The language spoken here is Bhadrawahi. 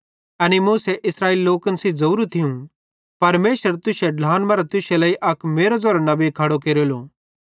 एनी मूसा इस्राएली लोकन सेइं ज़ोरू थियूं परमेशर तुश्शे ढ्लान मरां तुश्शे लेइ अक मेरो ज़ेरो नबी खड़ो केरेलो